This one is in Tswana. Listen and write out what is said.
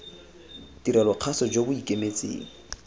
tirelo kgaso jo bo ikemetseng